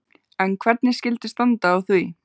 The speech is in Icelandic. En hvernig skyldi standa á því?